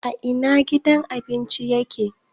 A ina gidan abincin ya ke?